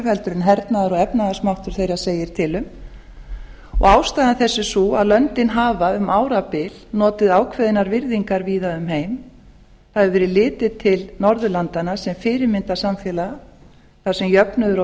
hernaðar og efnahagsmáttur þeirra segir til um ástæða þess er sú að löndin hafa um árabil notið ákveðinnar virðingar víða um heim það hefur verið litið til norðurlandanna sem fyrirmyndarsamfélaga þar sem jöfnuður og